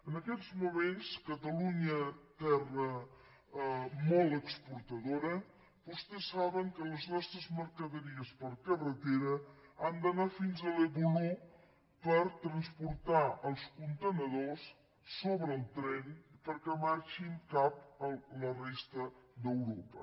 en aquests moments a catalunya terra molt exportadora vostès saben que les nostres mercaderies per carretera han d’anar fins al voló per transportar els contenidors sobre el tren perquè marxin cap a la resta d’europa